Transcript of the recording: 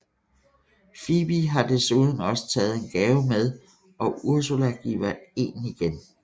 Phoebe har desuden også taget en gave med og Ursula giver en igen